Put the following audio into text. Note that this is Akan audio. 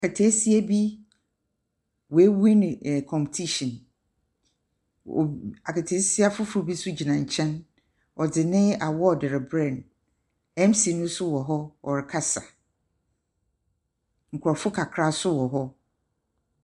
Aketeesia bi, wewiini competition. Wo aketeesia foforɔ bi nso gyina nkyɛn, ɔde ne awɔɔde rebrɛ no. MC nso wɔ ɔrekasa. Nkurɔfoɔ kakra nso wɔ hɔ.